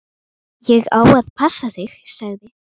Ég á að passa þig, sagði